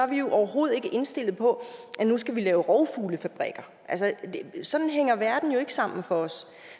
vi jo overhovedet ikke indstillet på at nu skal vi lave rovfuglefabrikker sådan hænger verden jo ikke sammen for os